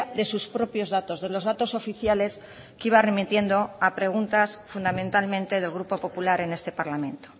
de sus propios datos de los datos oficiales que iba remitiendo a preguntas fundamentalmente del grupo popular en este parlamento